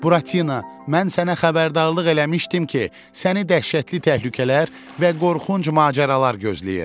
Buratina, mən sənə xəbərdarlıq eləmişdim ki, səni dəhşətli təhlükələr və qorxunc macəralar gözləyir.